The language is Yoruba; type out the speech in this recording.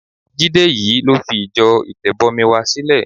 Jídé yìí ló fi ìjọ Ìtẹ̀bọmi wa sílẹ̀.